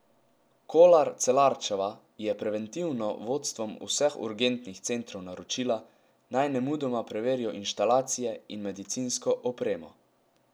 Kolar Celarčeva je preventivno vodstvom vseh urgentnih centrov naročila, naj nemudoma preverijo inštalacije in medicinsko opremo.